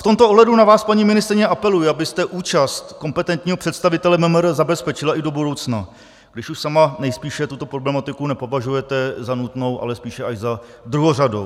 V tomto ohledu na vás, paní ministryně, apeluji, abyste účast kompetentního představitele MMR zabezpečila i do budoucna, když už sama nejspíše tuto problematiku nepovažujete za nutnou, ale spíše až za druhořadou.